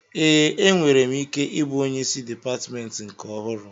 Ee, enwere m ike ịbụ onyeisi dịpatmentị nke ọhụrụ